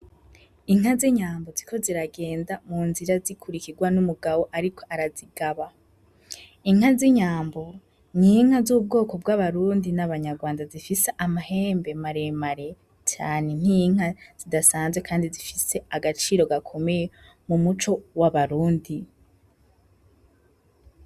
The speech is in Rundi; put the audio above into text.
Inka z’inyambo ziriko ziragenda mu nzira zikurikirwa n’umugabo ariko arazigaba . Inka z’inyambo ni inka z’ubwoko bw’abarundi n’abanyarwanda zifise amahembe maremare cane nk’inka zidasanzwe kandi zifise agaciro gakomeye mu muco w’abarundi.